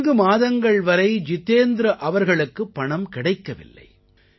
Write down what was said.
நான்கு மாதங்கள் வரை ஜிதேந்த்ர அவர்களுக்கு பணம் கிடைக்கவில்லை